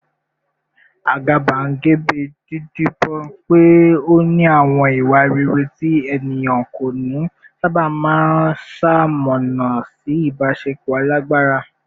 Àgàbàgebè, dídibọ́n pé ó ní àwọn ìwà rere tí ènìyàn kò ní, sábà máa ń ṣamọ̀nà sí ìbáṣepọ̀ alágbára